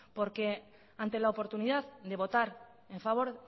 porque ante la oportunidad de votar en favor